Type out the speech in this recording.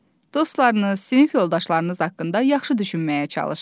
Dostlarınız, sinif yoldaşlarınız haqqında yaxşı düşünməyə çalışın.